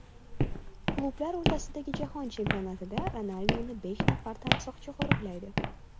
Klublar o‘rtasidagi jahon chempionatida Ronalduni besh nafar tansoqchi qo‘riqlaydi.